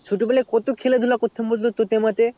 ছোট বেলাই কত খেলা ধুলা করতাম টোতে আমাতে